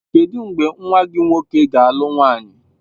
Kedụ mgbe nwa gị nwoke ga-alụ nwaanyị?